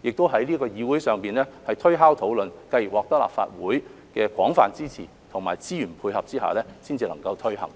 亦在這議會上推敲討論，繼而獲得立法會的廣泛支持，並在資源配合下才能夠推行。